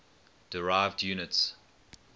derived units